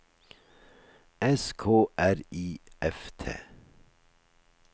S K R I F T